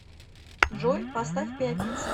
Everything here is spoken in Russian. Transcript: джой поставь пятница